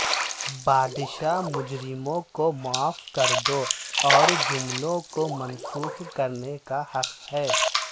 بادشاہ مجرموں کو معاف کردو اور جملوں کو منسوخ کرنے کا حق ہے